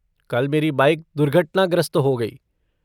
कल मेरी बाइक दुर्घटनाग्रस्त हो गई।